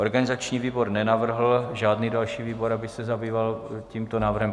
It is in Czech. Organizační výbor nenavrhl žádný další výbor, aby se zabýval tímto návrhem.